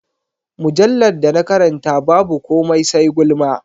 Mujallar da na karanta babu komai sai gulma.